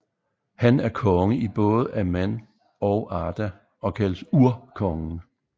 Han er konge i både Aman og Arda og kaldes Urkongen